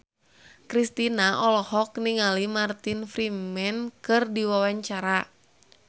Kristina olohok ningali Martin Freeman keur diwawancara